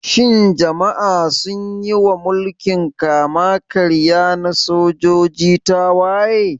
Shin jama'a sun yi wa mulkin kama-karya na sojoji tawaye?